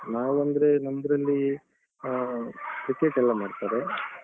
ನಾವು ಅಂದ್ರೆ ನಮ್ದ್ರಲ್ಲೀ ಆ cricket ಯೆಲ್ಲ ಮಾಡ್ತಾರೆ.